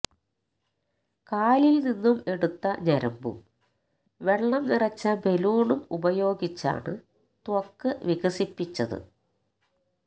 കാലില് നിന്നും എടുത്ത ഞരമ്പും വെള്ളം നിറച്ച ബലൂണും ഉപയോഗിച്ചാണ് ത്വക്ക് വികസിപ്പിച്ചത്